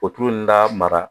O tulu in lamara